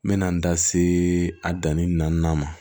N mɛna n da se a danni naaninan ma